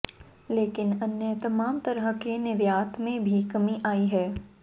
लेकिन अन्य तमाम तरह के निर्यात में भी कमी आई है